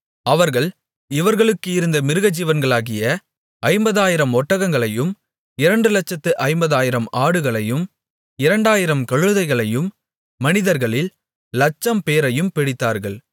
அவர்கள் இவர்களுக்கு இருந்த மிருகஜீவன்களாகிய ஐம்பதாயிரம் ஒட்டகங்களையும் இரண்டு லட்சத்து ஐம்பதாயிரம் ஆடுகளையும் இரண்டாயிரம் கழுதைகளையும் மனிதர்களில் லட்சம்பேரையும் பிடித்தார்கள்